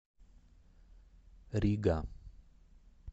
рига